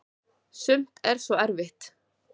sumt er svo erfitt